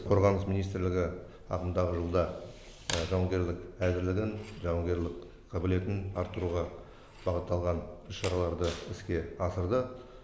қорғаныс министрлігі ағымдағы жылда жауынгерлік әзірлігін жауынгерлік қабілетін арттыруға бағытталған іс шараларды іске асырды